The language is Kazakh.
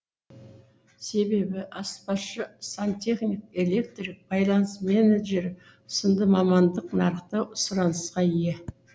себебі аспазшы сантехник электрик байланыс менеджері сынды мамандық нарықта сұранысқа ие